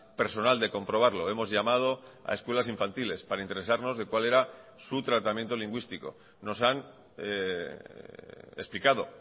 personal de comprobarlo hemos llamado a escuelas infantiles para interesarnos de cual era su tratamiento lingüístico nos han explicado